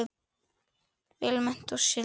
Vel menntuð og sigld.